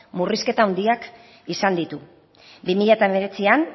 murrizketa handiak izan ditu bi mila hemeretzian